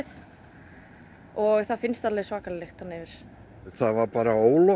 og það finnst alveg svakaleg lykt þarna yfir það var bara